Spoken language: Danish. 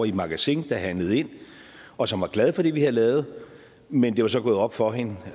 i magasin der handlede ind og som var glad for det vi havde lavet men det var så gået op for hende